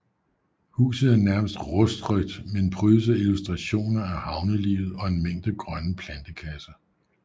Huset er nærmest rustrødt men prydes af illustrationer af havnelivet og en mængde grønne plantekasser